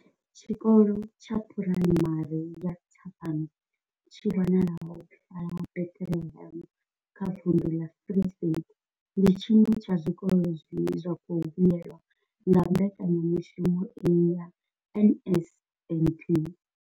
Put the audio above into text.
Tshikolo tsha Phuraimari ya Thabang tshi wanalaho fhaḽa Bethlehem kha vunḓu ḽa Free State, ndi tshiṅwe tsha zwikolo zwine zwa khou vhuelwa nga mbekanyamushumo iyi ya NSNP.